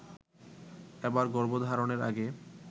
এবার গর্ভধারণের আগে